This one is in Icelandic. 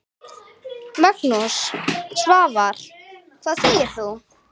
Magnús: Svavar, hvað segir þú?